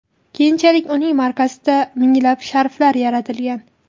Keyinchalik uning markasida minglab sharflar yaratilgan.